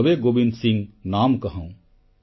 ତବେ ଗୋବିନ୍ଦ ସିଂ ନାମ କହାଉଁ